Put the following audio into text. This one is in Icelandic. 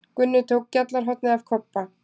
Gunni tók gjallarhornið af Kobba.